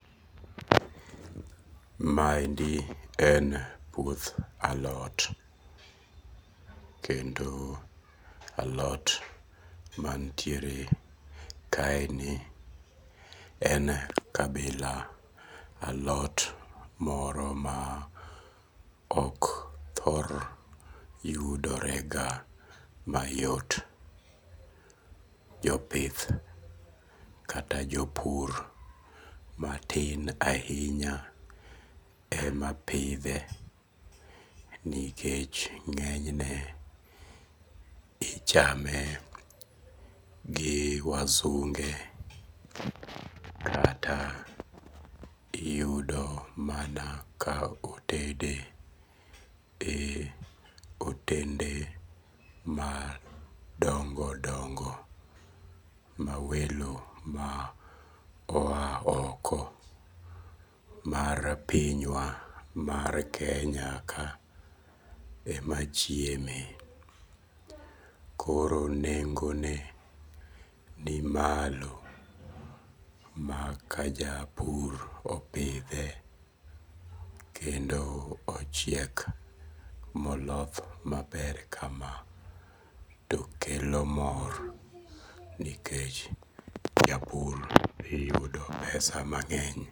Maendi en puoth alot. Kendo alot mantiere kaeni en kabila alot moro ma ok thor yudore ga mayot. Jopith kata jopur matin ahinya ema pidhe nikech ng'enyne ichame gi wasunge kata iyudo mana ka otede e otende madongo dongo ma welo ma oa oko mar piny wa mar Kenya ka ema chieme. Koro nengo ne ni malo. Maka japur opidhe kendo ochiek moloth maber kama tokelo mor nikech japur dhi yudo pesa mang'eny.